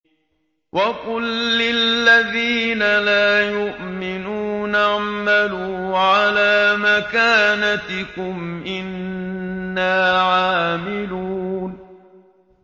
وَقُل لِّلَّذِينَ لَا يُؤْمِنُونَ اعْمَلُوا عَلَىٰ مَكَانَتِكُمْ إِنَّا عَامِلُونَ